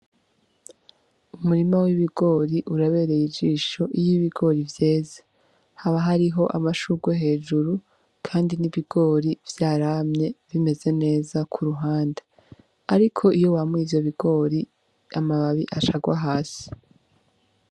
Umurima w'ibigori urabereye ijisho iyo ibigori vyeze haba hariho amashurwe hejuru, kandi n'ibigori vyaramye bimeze neza k’uruhande, ariko iyo wamuye ivyo bigori amababi acagwa hasi.